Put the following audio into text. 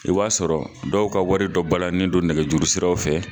I b'a sɔrɔ dɔw ka wari dɔ balalen don nɛgɛjuru siraw fɛ